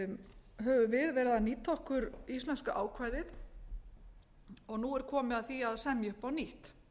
verið að nýta okkur íslenska ákvæðið og nú er komið að því að semja upp á nýtt